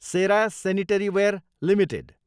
Sera sanitaryware Ltd